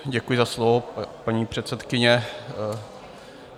Děkuji za slovo, paní předsedkyně.